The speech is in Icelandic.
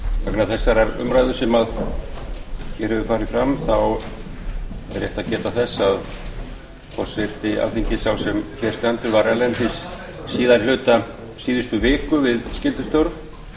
vegna þessarar umræðu sem farið hefur fram er rétt að geta þess að forseti alþingis sá sem hér stendur var erlendis síðari hluta síðustu skyldustörf